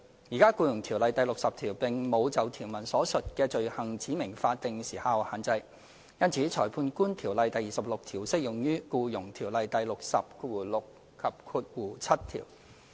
"現時，《僱傭條例》第60條並無就條文所述的罪行指明法定時效限制，因此《裁判官條例》第26條適用於《僱傭條例》第606及7條。